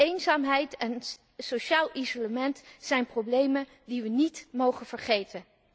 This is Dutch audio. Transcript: Eenzaamheid en sociaal isolement zijn problemen die wij niet mogen vergeten.